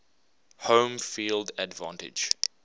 home field advantage